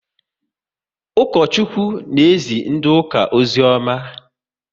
Ukochukwu na ezi ndị ụka ozioma